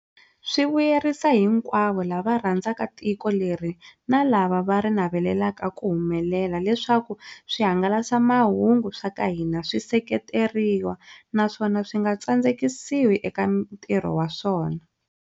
Swi vuyerisa hinkwavo lava rhandzaka tiko leri na lava va ri navelelaka ku humelela leswaku swihanga lasamahungu swa ka hina swi seketeriwa, naswona swi nga tsandzekisiwi eka ntirho wa swona.